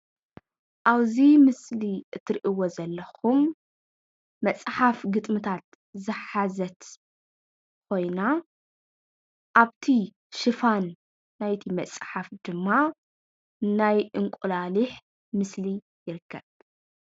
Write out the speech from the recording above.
ኣብዚ ምስሊ እትሪእይዎ ዘለኩም መፅሓፍ ግጥምታት ዝሓዘት ኮይና ኣፍቲ ሽፋን ናይቲ መፅሓፍ ወይድማ ናይ እንቁላሊሕ ምስሊ ይርከብ::